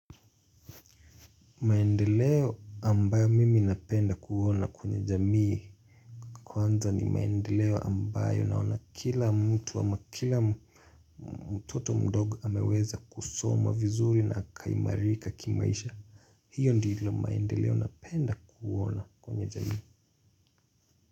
Maendeleo ambayo mimi napenda kuona kwenye jamii kwanza ni maendeleo ambayo naona kila mtu ama kila mtoto mdogo ameweza kusoma vizuri na akaimarika kimaisha. Hiyo ndilo maendeleo napenda kuona kwenye jamii.